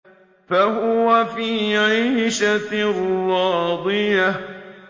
فَهُوَ فِي عِيشَةٍ رَّاضِيَةٍ